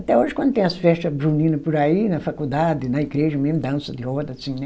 Até hoje, quando tem as festa junina por aí, na faculdade, na igreja, mesmo dança de roda, assim, né?